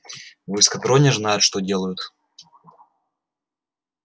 в эскадроне знают что делают